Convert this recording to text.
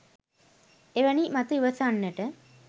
එවැනි මත ඉවසන්නට